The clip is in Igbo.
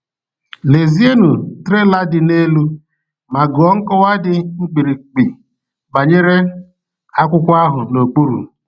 Lezienụ trela dị n’elu ma gụọ nkọwa dị mkpirikpi banyere akwụkwọ ahụ n’okpuru.